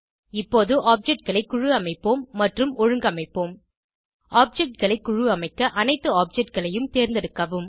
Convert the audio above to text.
இப்போது objectகளை குழு அமைப்போம் மற்றும் ஒழுங்கமைப்போம் objectகளை குழு அமைக்க அனைத்து objectகளையும் தேர்ந்தெடுக்கவும்